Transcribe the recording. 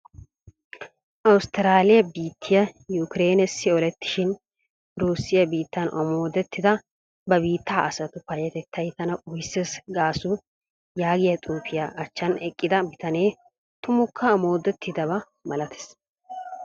<<Awustiraaliya biittiya yukireenessi olettishin urusiya biittan omooddettida ba biitta asatu payyatettay tana qopises>> gaasu yaagiya xipatiya achchan eqqida bitanee tummukka omooddettidaba malates.